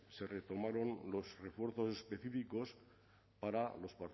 se tomaron los refuerzos específicos para los